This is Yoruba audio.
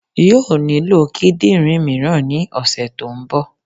Yóò nílò kídìnrín míràn ní òsè tó n bo